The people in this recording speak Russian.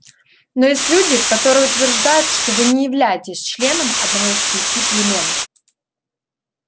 но есть люди которые утверждают что вы не являетесь членом одного из пяти племён